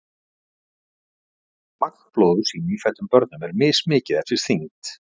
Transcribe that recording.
Magn blóðs í nýfæddum börnum er mismikið eftir þyngd.